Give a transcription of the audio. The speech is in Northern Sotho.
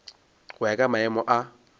go ya ka maemo a